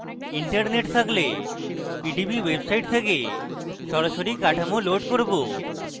আমি internet সাথে সংযুক্ত তাই আমি pdb website থেকে সরাসরি কাঠামো load করব